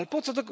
Ale po co?